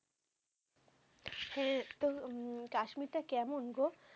হ্যাঁ তো উম কাশ্মীরটা কেমন গো?